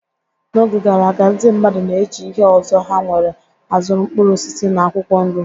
N'oge gara aga, ndị mmadụ na-eji ihe ọzọ ha nwere azụrụ mkpụrụ osisi na akwụkwọ nri.